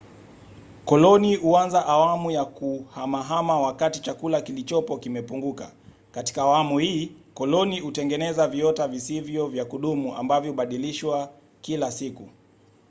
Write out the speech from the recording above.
koloni huanza awamu ya kuhamahama wakati chakula kilichopo kimepunguka. katika awamu hii koloni hutengeneza viota visivyo vya kudumu ambavyo hubadilishwa kila siku